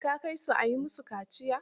Ka kai su a yi musu kaciya.